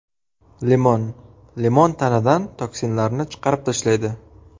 Limon Limon tanadan toksinlarni chiqarib tashlaydi.